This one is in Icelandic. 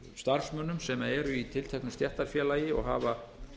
starfsmönnum sem eru í tilteknu stéttarfélagi og hafa